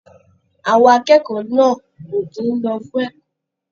Àwọn akẹ́kọ̀ọ́ náà ò kì í lọ fún ẹ̀kọ́.